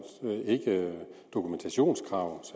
dokumentationskrav